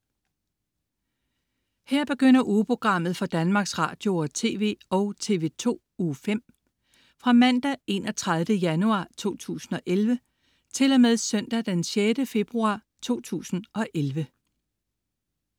Her begynder ugeprogrammet for Danmarks Radio- og TV og TV2 Uge 5 Fra Mandag den 31. januar 2011 Til Søndag den 6. februar 2011